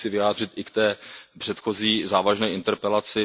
Tím se chci vyjádřit i k té předchozí závažné interpelaci.